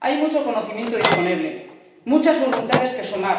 Hay mucho conocimiento disponible, muchas voluntades que sumar,